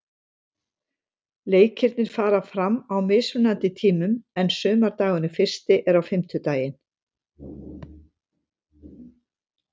Leikirnir fara fram á mismunandi tímum en sumardagurinn fyrsti er á fimmtudaginn.